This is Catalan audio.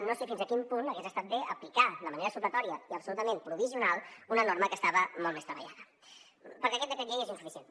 no sé fins a quin punt hagués estat bé aplicar de manera supletòria i absolutament provisional una norma que estava molt més treballada perquè aquest decret llei és insuficient